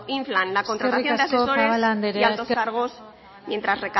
inflan la contratación de asesores y altos cargos mientras